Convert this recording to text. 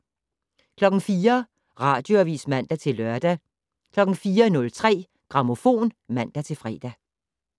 04:00: Radioavis (man-lør) 04:03: Grammofon (man-fre)